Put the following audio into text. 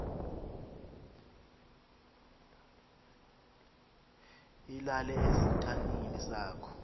ilale esitalini sakho